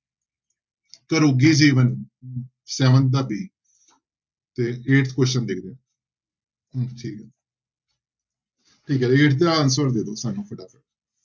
ਘਰੋਗੀ ਜੀਵਨ seven ਦਾ b ਤੇ eighth question ਦੇਖਦੇ ਹਾਂ ਠੀਕ ਹੈ eighth ਦਾ answer ਦੇ ਦਓ ਸਾਨੂੰ